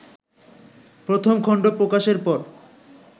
প্রথম খন্ড প্রকাশের পর